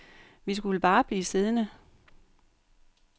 Vi skulle bare blive siddende.